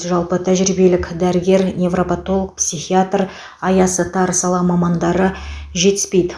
жалпы тәжірибелік дәрігер невропотолог психиатор аясы тар сала мамандары жетіспейді